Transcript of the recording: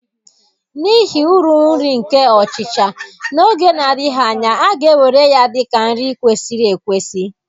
N'ihi uru nri nke ọchịcha, n'oge na-adịghị anya, a ga-ewere ya dị ka nri kwesịrị ekwesị.